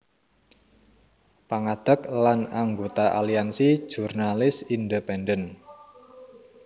Pangadeg lan anggota Aliansi Jurnalis Independen